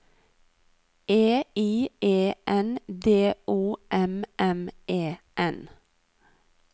E I E N D O M M E N